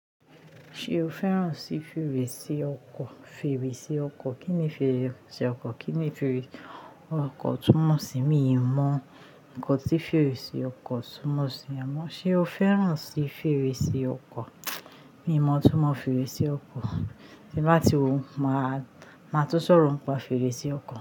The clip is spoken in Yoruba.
Ṣé o fẹ́ràn sí fèrèsé ọkọ̀? Fèrèsé ọkọ̀, kí ni fèrèsé ọkọ̀? Kí ni fèrèsé ọkọ̀ túmọ̀ sí mi? Mi ò mọ nǹkan tí fèrèsé ọkọ̀ túmọ̀ sí. Àmọ́ ṣe o fẹ́ràn sí fèrèsé ọkọ̀? Mi ò mọ túmọ̀ fèrèsé ọkọ̀. Tí bá ti ròun, máa tún sọ̀rọ̀ ń pa fèrèsé ọkọ̀